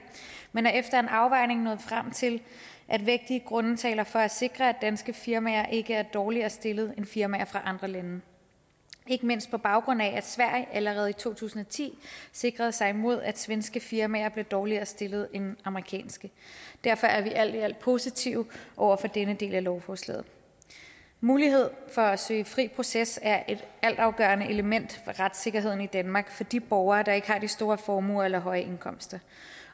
men er efter en afvejning nået frem til at vægtige grunde taler for at sikre at danske firmaer ikke er dårligere stillet end firmaer fra andre lande ikke mindst på baggrund af at sverige allerede i to tusind og ti sikrede sig imod at svenske firmaer blev dårligere stillet end amerikanske derfor er vi alt i alt positive over for denne del af lovforslaget mulighed for at søge fri proces er et altafgørende element for retssikkerheden i danmark for de borgere der ikke har de store formuer eller høje indkomster